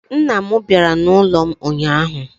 Nna m bịara n'ụlọ m ụnyahụ